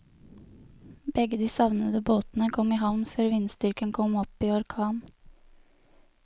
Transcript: Begge de savnede båtene kom i havn før vindstyrken kom opp i orkan.